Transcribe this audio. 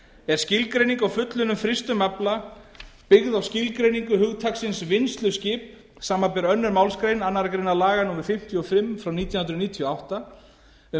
er skilgreining á fullunnum frystum afla byggð á skilgreiningu hugtaksins vinnsluskip samanber aðra málsgrein annarrar greinar laga númer fimmtíu og fimm nítján hundruð níutíu og átta um